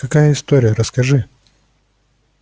какая история расскажи